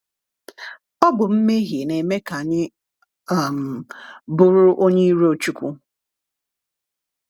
Ọ bụ mmehie na-eme ka anyị um bụrụ onye iro Chúkwú.